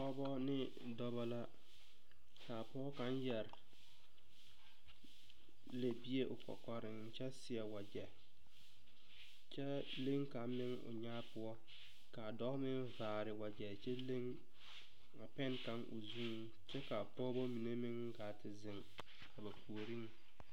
Pɔgeba ne dɔba la kaa pɔge kaŋ yɛre lɛbie o kɔkɔriŋ kyɛ seɛ wagyɛ kyɛ leŋ kaŋ meŋ o nyaa poɔ kaa dɔɔ meŋ vaare wagyɛ kyɛ leŋ pan kaŋa o zuiŋ kyɛ kaa pɔgebɔ mine gaa ziŋ a ba puoriŋ.